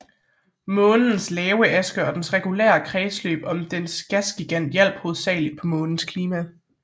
Månens lave akse og dens regulære kredsløb om dens gasgigant hjalp hovedsageligt på månens klima